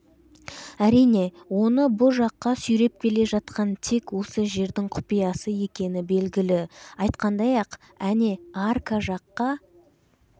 әрине оны бұ жаққа сүйреп келе жатқан тек осы жердің құпиясы екені белгілі айтқандай-ақ әне арка жаққа